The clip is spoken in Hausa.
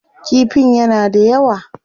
Kifin yana da yawa.